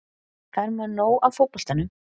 Fær maður nóg af fótboltanum?